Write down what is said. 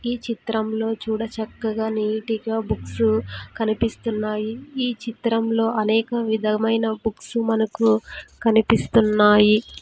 ఈ చిత్రంలో చూడ చక్కగా నీటి గా బుక్స్ కనిపిస్తున్నాయి ఈ చిత్రంలో అనేక విధమైన బుక్స్ మనకు కనిపిస్తున్నాయి.